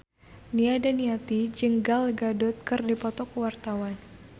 Nia Daniati jeung Gal Gadot keur dipoto ku wartawan